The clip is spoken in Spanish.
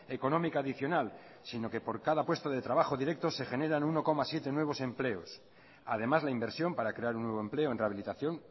económica adicional sino que por cada puesto de trabajo directo se generan uno coma siete nuevos empleos además la inversión para crear un nuevo empleo en rehabilitación